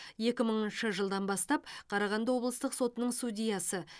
екі мыңыншы жылдан бастап қарағанды облыстық сотының судьясы